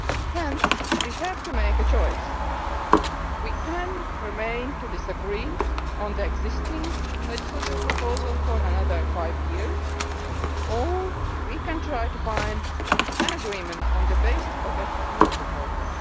Hence, we have to make a choice we can continue to disagree on the existing legislative proposal for another five years or we can try to find an agreement on the basis of a new proposal.